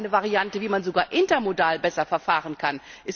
Das wäre eine Variante, wie man sogar intermodal besser verfahren kann.